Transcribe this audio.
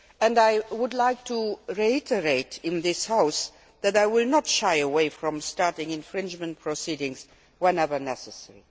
I would like to reiterate in this House that I will not shy away from starting infringement proceedings whenever necessary.